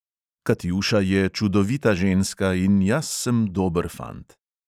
Katjuša je čudovita ženska in jaz sem dober fant.